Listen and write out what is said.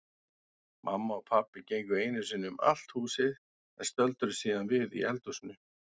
Mamma og pabbi gengu einu sinni um allt húsið en stöldruðu síðan við í eldhúsinu.